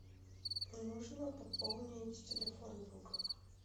нужно пополнить телефон друга